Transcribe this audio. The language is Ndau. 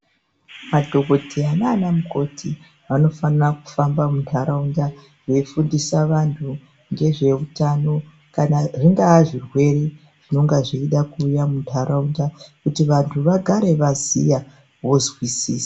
Madhokodheya nanamukoti vanofanirwa kufamba mundaraunda veifundisa vanhu ngezveutano kana kuti zvingava zvirwere zvinenge zveida kuuya mundaraunda kuti vandu vagare vaziya vozwisisa.